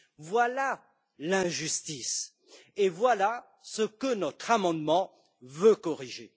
Voilà l'injustice et voilà ce que notre amendement veut corriger!